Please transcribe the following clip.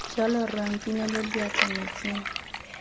jalo rra nkinele diatla metsing